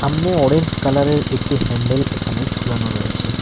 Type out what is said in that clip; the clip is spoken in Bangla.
সামনে অরেঞ্জ কালার -এর একটি হ্যান্ডেল এখানে ঝুলানো রয়েছে।